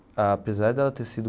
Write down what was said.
Apesar de ela ter sido.